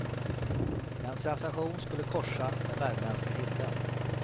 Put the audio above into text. En sensation skulle korsa den värmländska himlen.